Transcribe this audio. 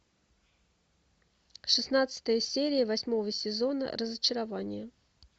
шестнадцатая серия восьмого сезона разочарование